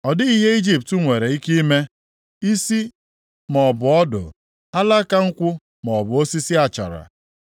Ọ dịghị ihe Ijipt nwere ike ime, isi maọbụ ọdụ; alaka nkwụ maọbụ osisi achara.